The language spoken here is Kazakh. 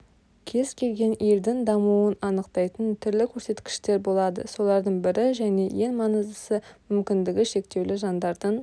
кез келген елдің дамуын анықтайтын түрлі көрсеткіштер болады солардың бірі және ең маңыздысы мүмкіндігі шектеулі жандардың